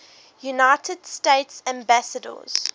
united states ambassadors